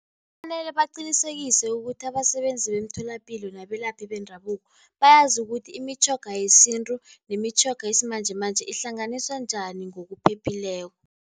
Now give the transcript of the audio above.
Kufanele baqinisekise ukuthi abasebenzi bemtholapilo nabelaphi bendabuko, bayazi ukuthi imitjhoga yesintu nemitjhoga yesimanjemanje ihlanganiswa njani ngokuphephileko.